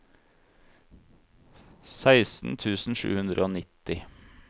seksten tusen sju hundre og nitti